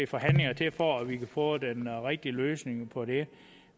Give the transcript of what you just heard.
forhandlinger til for at vi kan få den rigtige løsning på det